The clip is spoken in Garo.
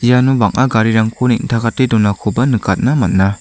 iano bang·a garirangko neng·takate donakoba nikatna man·a.